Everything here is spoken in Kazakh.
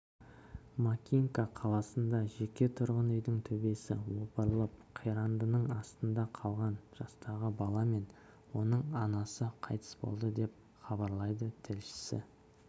макинка қаласында жеке тұрғын үйдің төбесі опырылып қирандының астында қалған жастағы бала мен оның анасы қайтыс болды деп хабарлайды тілшісі